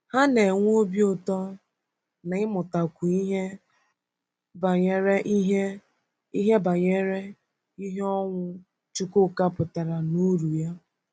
Ha na-enwe obi ụtọ n’ịmụtakwu ihe banyere ihe ihe banyere ihe ọnwụ Chukwuka pụtara na uru ya.